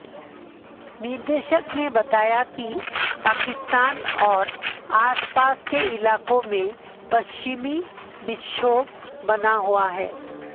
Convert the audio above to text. निदेशक ने बताया कि पाकिस्तान और आसपास के इलाकों में पश्चिमी विक्षोभ बना हुआ है